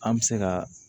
An bɛ se ka